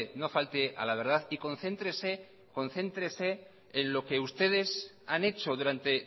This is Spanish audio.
no falte a la verdad y concéntrese concéntrese en lo que ustedes han hecho durante